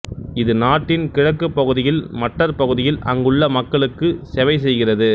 இது நாட்டின் கிழக்குப் பகுதியில் மட்டர் பகுதியில் அங்குள்ள மக்களுக்கு செவைசெய்கிறது